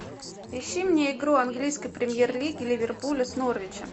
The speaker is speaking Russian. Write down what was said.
ищи мне игру английской премьер лиги ливерпуля с норвичем